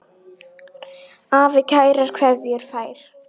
Afi kærar kveðjur fær.